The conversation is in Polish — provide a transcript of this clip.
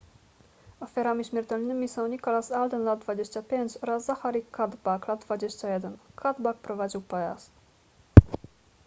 ofiarami śmiertelnymi są nicholas alden lat 25 oraz zachary cuddeback lat 21 cuddeback prowadził pojazd